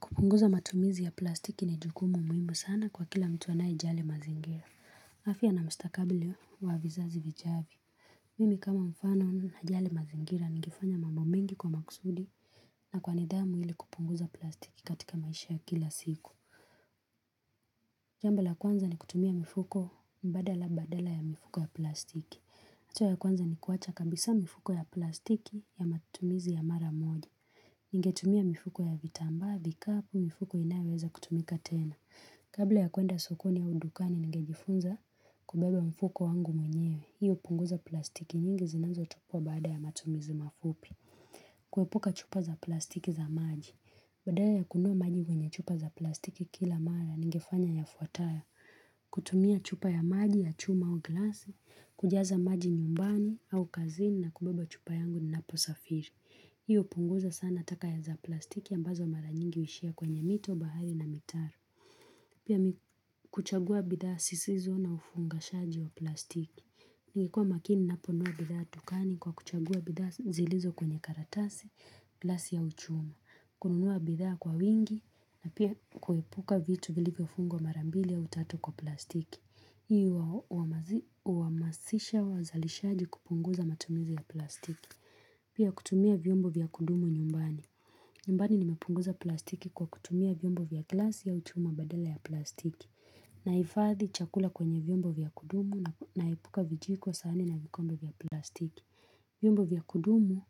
Kupunguza matumizi ya plastiki ni jukumu muhimu sana kwa kila mtu anayejali mazingira. Afya na mstakabali wa vizazi vijavyo. Mimi kama mfano na jali mazingira nikifanya mambo mengi kwa makusudi na kwa nidhamu ili kupunguza plastiki katika maisha ya kila siku. Jambo la kwanza ni kutumia mifuko mbadala ya mifuko ya plastiki. Hatua ya kwanza ni kuacha kabisa mifuko ya plastiki ya matumizi ya mara moja. Ningetumia mifuko ya vitamba, vikapu, mifuko inaweza kutumika tena. Kabla ya kuenda sokoni au udukani nigejifunza kubebe mfuko wangu mwenyewe. Hiyo punguza plastiki nyingi zinazo tupwa baada ya matumizi mafupi. Kuepuka chupa za plastiki za maji. Baada ya kununua maji kwenye chupa za plastiki kila mara nigefanya ya fuatayo. Kutumia chupa ya maji ya chuma au glasi, kujaza maji nyumbani au kazini na kubebe chupa yangu ninapo safiri. Hiyo punguza sana taka za plastiki mbazo mara nyingi huishia kwenye mito, bahari na mitaro. Pia mimi hukuchagua bidhaa zisizo na ufungashaji wa plastiki. Ningekuwa makini ninaponunua bidhaa dukani kwa kuchagua bidhaa zilizo kwenye karatasi, glasi au uchuma. Kununua bidhaa kwa wingi na pia kuepuka vitu vilivyofungwa mara mbili aw tatu kwa plastiki. Hii huhamasisha wazalishaji kupunguza matumizi ya plastiki. Pia kutumia vyombo vya kudumu nyumbani. Nyumbani nimepunguza plastiki kwa kutumia vyombo vya glasi au chuma badaa ya plastiki Nahifadhi chakula kwenye vyombo vya kudumu na epuka vijiko sahani na vikombe vya plastiki vyombo vya kudumu,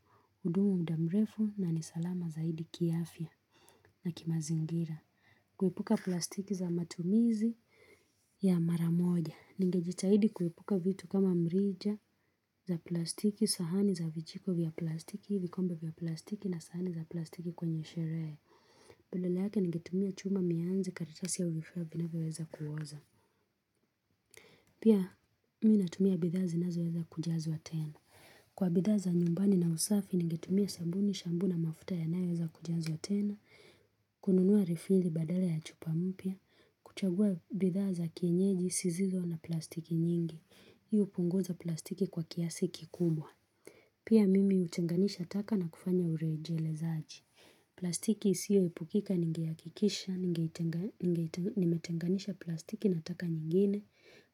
hudumu muda mrefu na ni salama zaidi kiafya na kimazingira kuepuka plastiki za matumizi ya mara moja Ningejitahidi kuepuka vitu kama mrija za plastiki, sahani za vichiko vya plastiki, vikombe vya plastiki na sahani za plastiki kwenye sherehe. Badala yake ningetumia chuma, mianzi, karitasi ya uvifuwa vinaweweza kuoza. Pia, minatumia bidhazi nazo weza kujazwa tena. Kwa bidhaa za nyumbani na usafi, ningetumia sabuni, shampu na mafuta yanayoweza kujiazwa tena, kununua refili badale ya chupa mpia, kuchagua bidhaa za kienyeji, zisizo na plastiki nyingi. Hii upunguza plastiki kwa kiasi kikubwa Pia mimi hutenganisha taka na kufanya ureje lezaji plastiki isiyo epukika ninge hakikisha Nimetenganisha plastiki na taka nyingine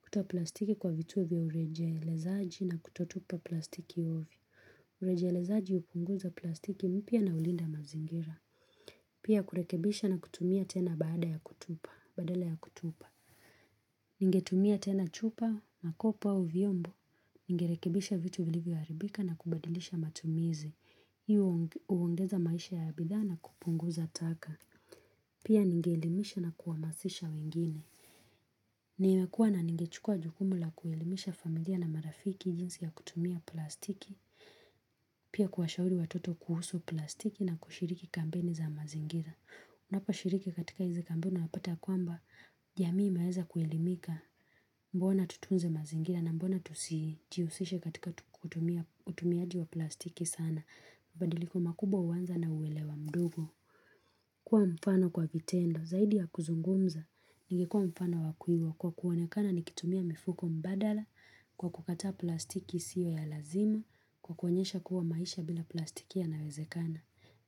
Kuta plastiki kwa vitu vya ureje lezaji na kutotupa plastiki uvyo Ureje lezaji hupunguza plastiki mpya na hulinda mazingira Pia kurekebisha na kutumia tena badala ya kutupa Ningetumia tena chupa, makopa au viombo Ningerekebisha vitu vilivyoharibika na kubadilisha matumizi. hIyo huongeza maisha ya bidhaa na kupunguza taka. Pia ningeelimisha na kuhamasisha wengine. Niwakuwa na ningechukua jukumu la kuelimisha familia na marafiki jinsi ya kutumia plastiki. Pia kuwashauri watoto kuhusu plastiki na kushiriki kampeni za mazingira. Unapa shiriki katika hizi kampeni unapata kwamba jamii inaweza kuelimika mbona tutunze mazingira na mbona tusijihusishe katika kutumia. Utumiaji wa plastiki sana mabadiliko makubwa huanza na uelewa mdogo kuwa mfano kwa vitendo zaidi ya kuzungumza ninge kuwa mfano wakuigwa kwa kuonekana nikitumia mifuko mbadala kwa kukataa plastiki isiyo ya lazima kwa kuonyesha kuwa maisha bila plastiki yanawezekana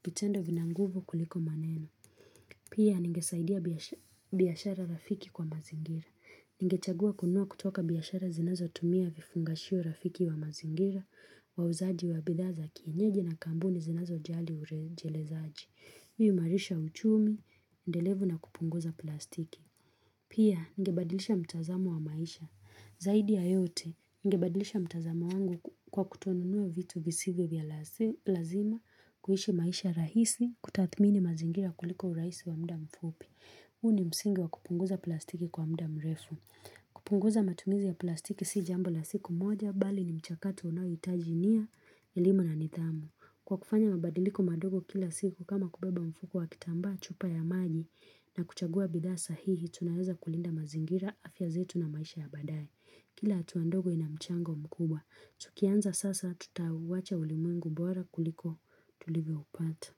vitendo vina nguvu kuliko maneno pia ninge saidia biashara rafiki kwa mazingira ninge chagua kununua kutoka biashara zinazo tumia vifungashio rafiki wa mazingira wauzaji wa bidhaza kienyeji na kampuni zinazo jali urejele zaji. Hii huimarisha uchumi, endelevu na kupunguza plastiki. Pia, ningebadilisha mtazamo wa maisha. Zaidi ya yote, ningebadilisha mtazamo wangu kwa kutonunua vitu visivyo vya lazima, kuishi maisha rahisi, kutathmini mazingira kuliko urahisi wa muda mfupi. Huu ni msingi wa kupunguza plastiki kwa mda mrefu. Kupunguza matumizi ya plastiki si jambo la siku moja, bali ni mchakato unao hitaji nia elimu na nithamu kwa kufanya mabadiliko madogo kila siku kama kubeba mfuko wa kitambaa chupa ya maji na kuchagua bidhaa sahihi tunaweza kulinda mazingira afya zetu na maisha ya badaye kila hatua ndogo ina mchango mkubwa tukianza sasa tutawacha ulimwengu bora kuliko tulivyoupata.